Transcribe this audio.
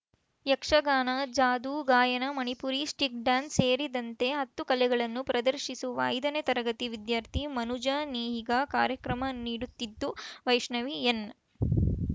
ಯಕ್ಷಗಾನ ಜಾದು ಗಾಯನ Manipuri stick dance ಸೇರಿದಂತೆ ಹತ್ತು ಕಲೆಗಳನ್ನು ಪ್ರದರ್ಶಿಸುವ ಐದನೇ ತರಗತಿ ವಿದ್ಯಾರ್ಥಿ ಮನುಜ ನೇಹಿಗಾ ಕಾರ್ಯಕ್ರಮ ನೀಡುತ್ತಿದ್ದು ವೈಷ್ಣವಿ ಎನ್‌